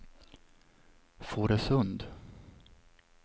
Fårösund